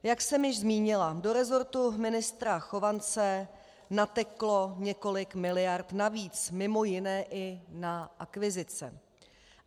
Jak už jsem zmínila, do resortu ministra Chovance nateklo několik miliard navíc mimo jiné i na akvizice.